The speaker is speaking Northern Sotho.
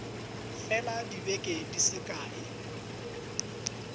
fela dibeke di se kae